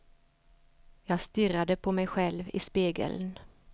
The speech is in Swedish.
Jag stirrade på mig själv i spegeln.